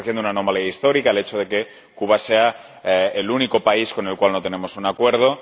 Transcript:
Estamos corrigiendo una anomalía histórica el hecho de que Cuba sea el único país con el que no tenemos un acuerdo.